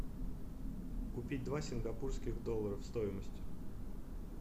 купить два сингапурских доллара стоимость